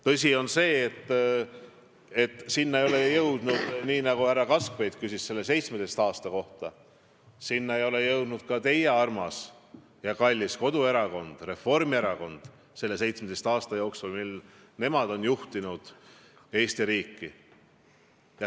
Tõsi on see, et selleni ei jõudnud, nii nagu härra Kaskpeit samuti märkis, ka teie armas ja kallis koduerakond Reformierakond selle 17 aasta jooksul, mil nemad juhtisid Eesti riiki.